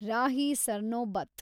Rahi Sarnobat